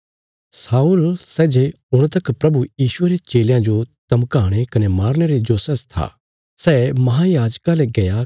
शाऊल सै जे हुण तक प्रभु यीशुये रे चेलयां जो धमकाणे कने मारने रे जोशा च था सै महायाजका ले गया